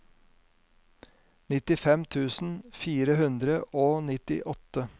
nittifem tusen fire hundre og nittiåtte